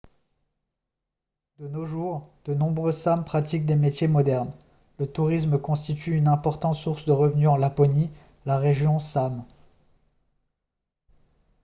de nos jours de nombreux sâmes pratiquent des métiers modernes le tourisme constitue une importante source de revenus en laponie la région sâme